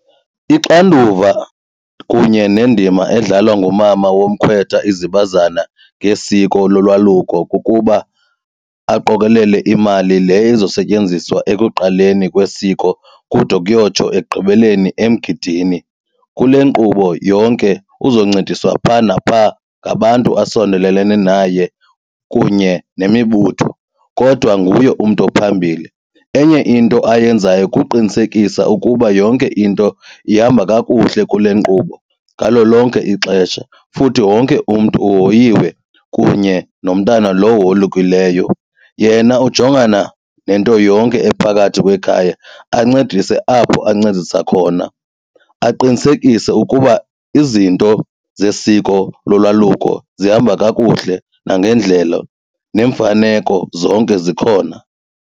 Ixanduva kunye nendima edlalwa ngumama womkhwetha izibazana ngesiko lolwaluko kukuba aqokolele imali le ezosetyenziswa ekuqaleni kwesiko kude kuyotsho ekugqibeleni emgidini. Kule nkqubo yonke uzoncediswa phaa naphaa ngabantu asondelelene naye kunye nemibutho kodwa nguye umntu ophambili. Enye into ayenzayo kuqinisekisa ukuba yonke into ihamba kakuhle kule nkqubo ngalo lonke ixesha futhi wonke umntu uhoyiwe kunye nomntana lo wolukileyo. Yena ujongana nento yonke ephakathi kwekhaya ancedise apho ancedisa khona aqinisekise ukuba izinto zesiko lolwaluko zihamba kakuhle nangendlela neemfaneko zonke zikhona.